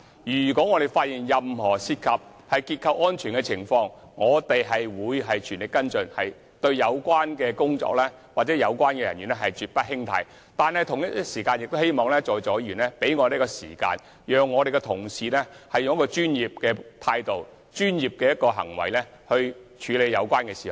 如果發現任何涉及樓宇結構安全的情況，我們便會全力跟進，且對有關人員絕不輕貸，但同時，我們亦希望在座議員給予時間，讓我們的同事以專業的態度和行動處理有關事宜。